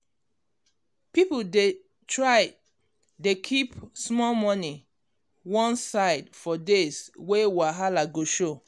people dey try dey keep small money one side for days wey wahala go show.